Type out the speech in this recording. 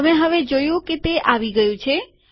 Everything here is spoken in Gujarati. તમે હવે જોયું કે તે આવી ગયું છે